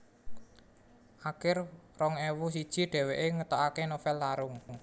Akir rong ewu siji dhèwèké ngetokaké novèl Larung